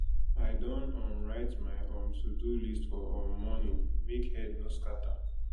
i don um write my um todo list for um morning make head no scatter